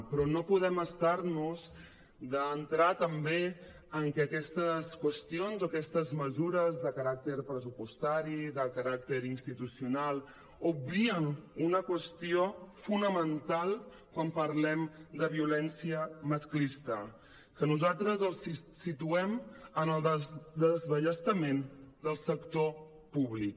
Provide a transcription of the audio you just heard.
però no podem estar nos d’entrar també en què aquestes qüestions o aquestes mesures de caràcter pressupostari de caràcter institucional obvien una qüestió fonamental quan parlem de violència masclista que nosaltres el situem en el desballestament del sector públic